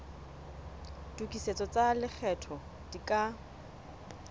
tokisetso tsa lekgetho di ka